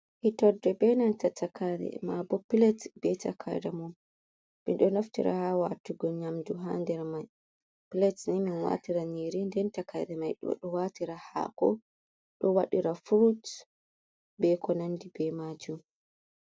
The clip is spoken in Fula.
Hitorde be nanta takaire, mabo plate be takaire mindo do naftira hawatugon nyamju handere mai plate ni min watira niri den takade mai do do watira hako do wadira fruit be ko nandi be maju.